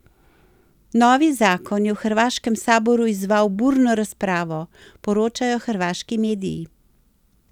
Novi zakon je v hrvaškem saboru izzval burno razpravo, poročajo hrvaški mediji.